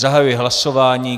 Zahajuji hlasování.